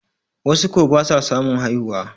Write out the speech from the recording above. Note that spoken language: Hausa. wasu ko ba sa samun haihuwa